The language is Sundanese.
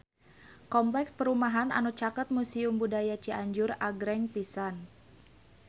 Kompleks perumahan anu caket Museum Budaya Cianjur agreng pisan